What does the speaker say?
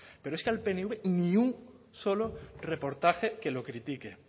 pero es que al pnv ni un solo reportaje que lo critique